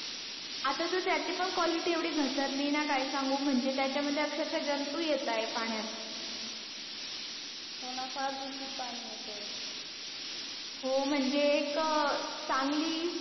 आता तर त्याची पण quality येवडी घसरली आहे ना काय सांगू म्हणजे त्याच्या मध्ये अक्षरशः जंतू येतायेत पाण्यात हो ना फार दूषित पाणी येतंय हो म्हणजे एक